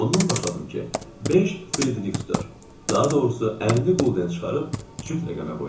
Ondan başladım ki, beş friktor, daha doğrusu 50 gulden çıxarıb cüt rəqəmə qoydum.